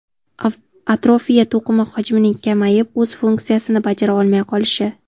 Atrofiya to‘qima hajmining kamayib, o‘z funksiyasini bajara olmay qolishi.